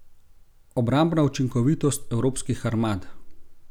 Obrambna učinkovitost evropskih armad?